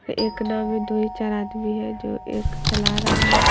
एक नाव मे दो ही चार आदमी है जो एक चला रहा है।